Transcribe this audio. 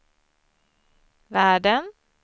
världen